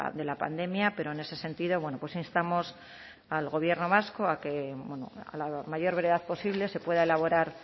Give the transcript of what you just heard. de la pandemia pero en ese sentido bueno pues instamos al gobierno vasco a que bueno a la mayor brevedad posible se pueda elaborar